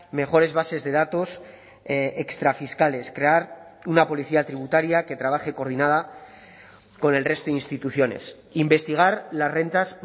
mejores bases de datos extra fiscales crear una policía tributaria que trabaje coordinada con el resto de instituciones investigar las rentas